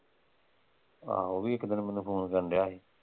ਆਹੋ ਓਹ ਵੀ ਇੱਕ ਦਿਨ ਮੈਨੂੰ ਫ਼ੋਨ ਕਰਨ ਡਯਾ ਸੀ।